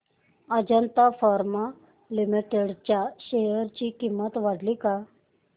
Ajanta pharma limited च्या share ची किंमत वाढली का